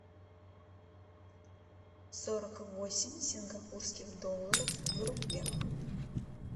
сорок восемь сингапурских долларов в рублях